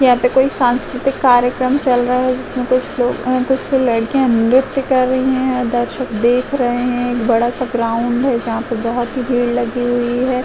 यहाँ पे कोई सांस्कृतिक कार्यक्रम चल रहा है जिसमे कोई श्लोक हां कुछ लड़किया नृत्य कर रही हैं। दर्शक देख रहे हैं। बड़ा सा ग्रांड है जहा पर बहोत भीड़ लगी हुई हैं।